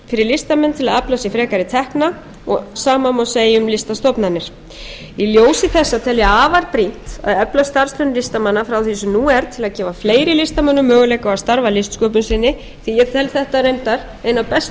fyrir listamenn til að afla sér frekari tekna og sama má segja um listastofnanir í ljósi þessa tel ég afar brýnt að efla starfsemi listamanna frá því sem nú er til að gefa fleiri listamönnum möguleika á að starfa að listsköpun sinni því að ég tel þetta reyndar eina bestu